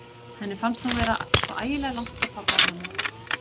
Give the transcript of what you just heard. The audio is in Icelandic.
Henni fannst hún vera svo ægilega langt frá pabba og mömmu.